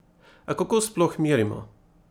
A kako sploh merimo?